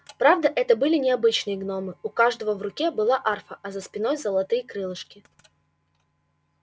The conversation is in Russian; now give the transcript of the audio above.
правда это были не обычные гномы у каждого в руке была арфа а за спиной золотые крылышки